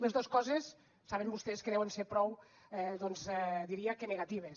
les dos coses saben vostès que deuen ser prou doncs diria que negatives